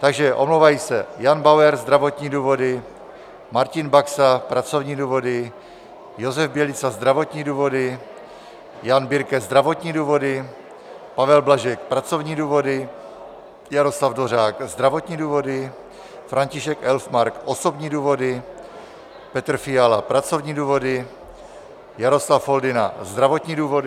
Takže omlouvají se: Jan Bauer - zdravotní důvody, Martin Baxa - pracovní důvody, Josef Bělica - zdravotní důvody, Jan Birke - zdravotní důvody, Pavel Blažek - pracovní důvody, Jaroslav Dvořák - zdravotní důvody, František Elfmark - osobní důvody, Petr Fiala - pracovní důvody, Jaroslav Foldyna - zdravotní důvody.